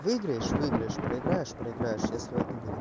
выиграешь выиграешь проиграешь проиграешь я сливать не буду